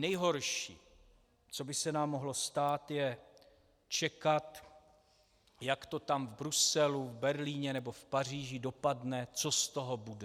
Nejhorší, co by se nám mohlo stát, je čekat, jak to tam v Bruselu, Berlíně nebo v Paříži dopadne, co z toho bude.